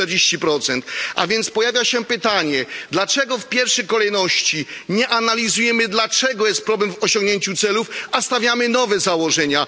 40. A więc pojawia się pytanie Dlaczego w pierwszej kolejności nie analizujemy, dlaczego jest problem w osiągnięciu celów, a stawiamy nowe założenia?